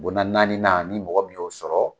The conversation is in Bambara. Bonda naani nan ni mɔgɔ minnu y'o sɔrɔ